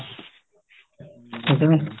ਠੀਕ ਹੈ ਨਾ